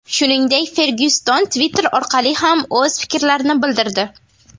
Shuningdek, Fergyuson Twitter orqali ham o‘z fikrlarini bildirdi .